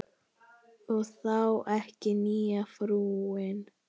Og þá ekki nýja frúin.